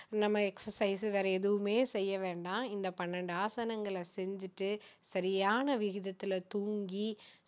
நம்ம exercise வேற எதுவுமே செய்ய வேண்டாம் இந்த பன்னிரெண்டு ஆசனங்களை செஞ்சுட்டு சரியான விகிதத்துல தூங்கி